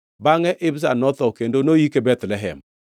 Bangʼe Ibzan notho, kendo noyike Bethlehem.